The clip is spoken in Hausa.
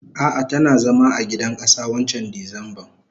Ah ah tana zama a gidan kasa wancan disemban.